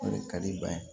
O de ka di ban ye